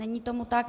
Není tomu tak.